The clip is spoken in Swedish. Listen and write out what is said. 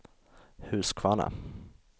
Huskvarna